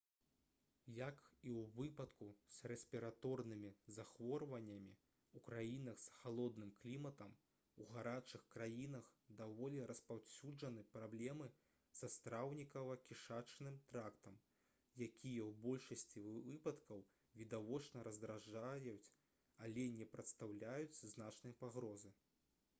як і ў выпадку з рэспіраторнымі захворваннямі ў краінах з халодным кліматам у гарачых краінах даволі распаўсюджаны праблемы са страўнікава-кішачным трактам якія ў большасці выпадкаў відавочна раздражняюць але не прадстаўляюць значнай пагрозы